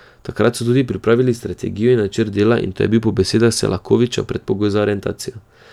Takrat so tudi pripravili strategijo in načrt dela in to je bil po besedah Selakovića predpogoj za aretacijo.